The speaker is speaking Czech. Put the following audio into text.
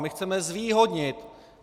My chceme zvýhodnit.